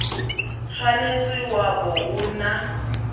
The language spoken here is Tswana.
tshwanetse wa bo o na